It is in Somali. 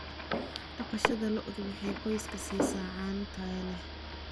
Dhaqashada lo'du waxay qoyska siisaa caano tayo leh.